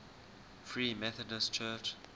free methodist church